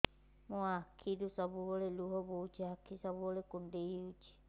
ମୋର ଆଖିରୁ ସବୁବେଳେ ଲୁହ ବୋହୁଛି ଆଖି ସବୁବେଳେ କୁଣ୍ଡେଇ ହଉଚି